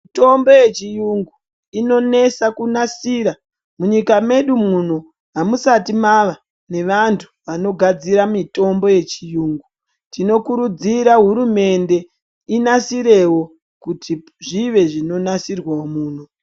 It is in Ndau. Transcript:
Mitombo yechiyungu inonesa kunasira. Munyika medu muno amusati mava nevantu vanogadzira mitombo yechiyungu. Tinokurudzira hurumende inasirewo kuti zvive zvinonasirwawo muno.